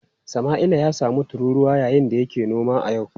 Samaila ya samu tururuwa yayin da yake noma a yau.